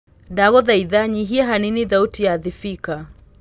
ndagũthaĩtha nyĩhĩa hanĩnĩ thaũtĩ ya thibika